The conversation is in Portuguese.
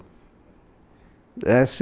É